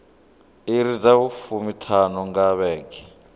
iri dza fumiṱhanu nga vhege